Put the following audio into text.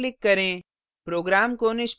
अब सेव पर click करें